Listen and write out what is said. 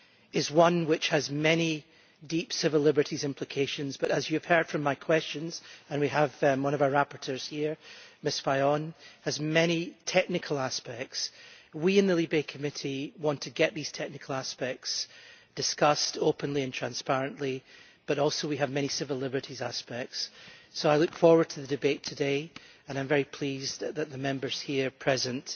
is one which has many deep civil liberties implications, but as you have heard from my questions and we have one of our rapporteurs here, Ms Fajon has many technical aspects. We in the LIBE Committee want to get these technical aspects discussed openly and transparently, but we are also concerned with the many civil liberties aspects, so I look forward to the debate today and I am very pleased that the Members here present